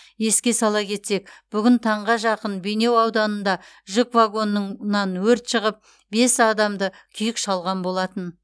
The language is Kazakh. еске сала кетсек бүгін таңға жақын бейнеу ауданында жүк вагонынан өрт шығып бес адамды күйік шалған болатын